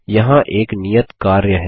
यहाँ एक नियत कार्य है